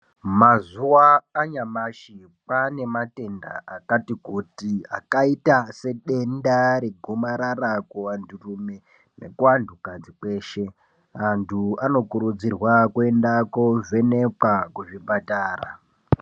Mazuwanyashi kwane matenda akatikuti akaita sedenda regomarara kuvanturume nekuantukadzi kweshe antu anokurudzirwa kuenda kovhenekwa kuzvipatara.